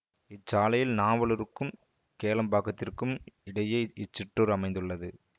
இச்சாலையில் நாவலூருக்கும் கேளம்பாக்கத்திற்கும் இடையே இச்சிற்றூர் அமைந்துள்ளது